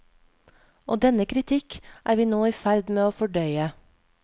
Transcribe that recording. Og denne kritikk er vi nå i ferd med å fordøye.